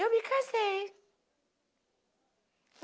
Eu me casei.